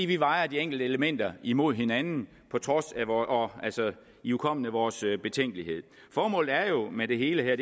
vi vejer de enkelte elementer imod hinanden ihukommende vores betænkelighed formålet med det hele her